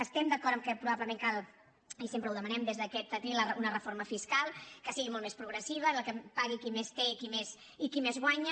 estem d’acord que probablement cal i sempre ho demanem des d’aquest atril una reforma fiscal que sigui molt més progressiva que pagui qui més té i qui més guanya